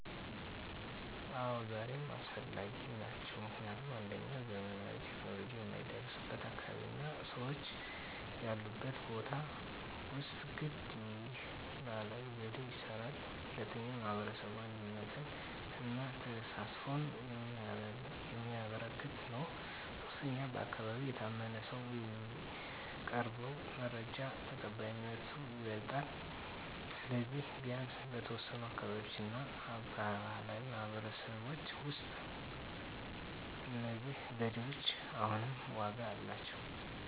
አዎ፣ ዛሬም አስፈላጊ ናቸው። ምክንያቱም 1. ዘመናዊ ቴክኖሎጂ የማይደረስበት አካባቢ እና ሰዎች ያሉበት ቦታ ውስጥ ግን ይህ ባህላዊ ዘዴ ይስራል። 2. የማህበረሰብ አንድነትን እና ተሳትፎን የሚያበረክት ነው። 3. በአካባቢ የታመነ ሰው የሚያቀርበው መረጃ ተቀባይነቱ ይበልጣል። ስለዚህ፣ ቢያንስ በተወሰኑ አካባቢዎች እና በባህላዊ ማህበረሰቦች ውስጥ እነዚህ ዘዴዎች አሁንም ዋጋ አላቸው።